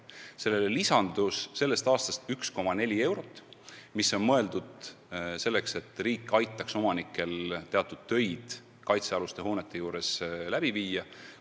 Sellele summale lisandus tänavu 1,4 miljonit eurot, mis on mõeldud selleks, et riik aitaks omanikel teatud töid kaitsealuste hoonete juures läbi viia.